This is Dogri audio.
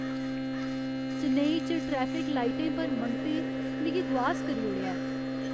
चेन्नई च ट्रैफिक लाइटें पर मंगतें मिगी दुआस करी ओड़ेआ ऐ।